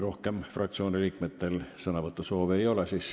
Rohkem fraktsioonide esindajatel sõnavõtusoove ei ole.